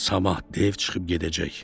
Sabah dev çıxıb gedəcək.